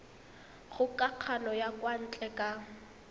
kgokagano ya kwa ntle ka